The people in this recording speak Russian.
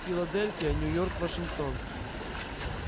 филадельфия нью-йорк вашингтон